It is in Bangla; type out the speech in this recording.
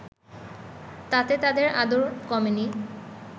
তাতে তাঁদের আদর কমেনি